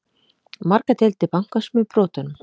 Margar deildir bankans með brotunum